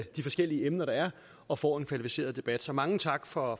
de forskellige emner der er og får en kvalificeret debat så mange tak for